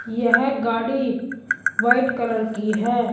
यह गाड़ी white colour की है।